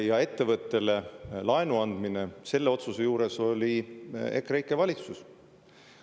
Ja ettevõttele laenu andmise otsuse juures oli EKREIKE valitsus.